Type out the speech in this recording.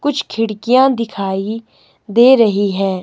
कुछ खिड़कियां दिखाई दे रही है।